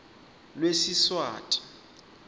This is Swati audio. lwesiswati